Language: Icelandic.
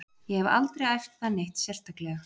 Ég hef aldrei æft það neitt sérstaklega.